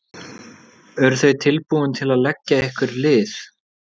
Eru þau tilbúin til að leggja ykkur lið?